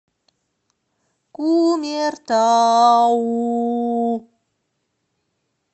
кумертау